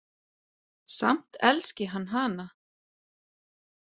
Samt elski hann hana.